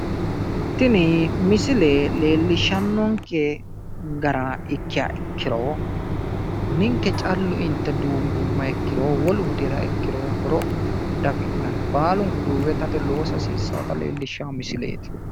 tini misile leelishshannonke gara ikkiha ikkiro ninke callu inte duubbummoha ikkiro wolu hudiriro horo diafinnanni baalunku duumbe itate loosa hasiissannonota leellishshanno misileeti.